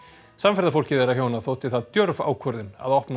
samferðafólki þeirra hjóna þótti það djörf ákvörðun að opna